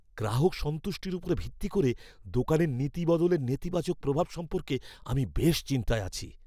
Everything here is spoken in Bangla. গ্রাহক সন্তুষ্টির উপর ভিত্তি করে দোকানের নীতি বদলের নেতিবাচক প্রভাব সম্পর্কে আমি বেশ চিন্তায় পড়েছি।